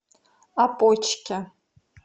опочке